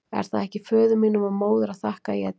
Er það ekki föður mínum og móður að þakka að ég er til?